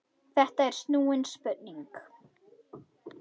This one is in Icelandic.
Þetta er snúin spurning.